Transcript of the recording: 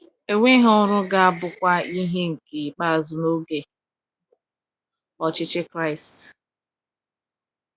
Enweghị ọrụ ga - abụkwa ihe nke ikpeazu n’oge ọchịchị Kraịst.